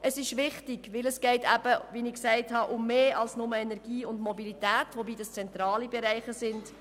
Es ist wichtig, weil es, wie ich gesagt habe, um mehr geht als nur um Energie und Mobilität, wobei dies zentrale Bereiche sind.